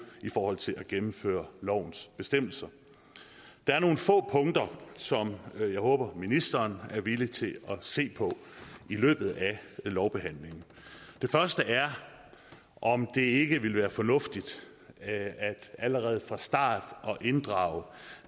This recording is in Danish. i forhold til at gennemføre lovens bestemmelser der er nogle få punkter som jeg håber ministeren er villig til at se på i løbet af lovbehandlingen det første er om det ikke ville være fornuftigt allerede fra starten at inddrage